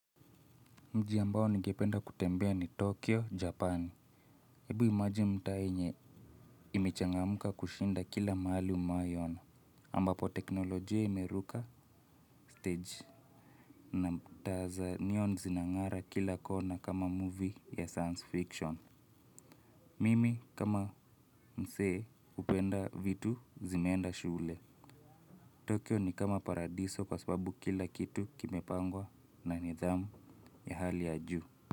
Mji ambao ningependa kutembea ni Tokyo Japan hebu imagine mtaa yenye imechangamuka kushinda kila mahali umewahiona ambapo teknolojia imeruka stage. Na taa za neon zinang'ara kila kona kama movie ya science fiction. Mimi kama mzee hupenda vitu zimeenda shule Tokyo ni kama paradiso kwa sababu kila kitu kimepangwa na nidhamu ya hali ya juu.